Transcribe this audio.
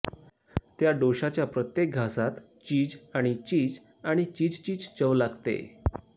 त्या डोशाच्या प्रत्येक घासात चिज आणि चिज आणि चिजचीच चव लागते